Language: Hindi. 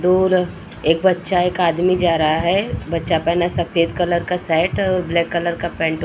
दूर एक बच्चा एक आदमी जा रहा है। बच्चा पहना सफेद कलर का शर्ट और ब्लैक कलर का पेंट --